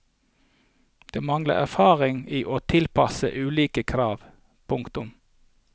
De mangler erfaring i å tilpasse ulike krav. punktum